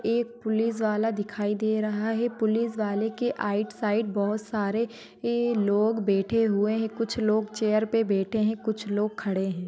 एक पुलिस वाला दिखाई दे रहा है पुलिस वाले के आइड-साइड बहुत सारे अह लोग बैठे हुए है कुछ लोग चैर पे बैठे है कुछ लोग खड़े है।